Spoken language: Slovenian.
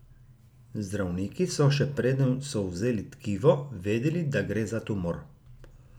Zdravniki so, še preden so vzeli tkivo, vedeli, da gre za tumor.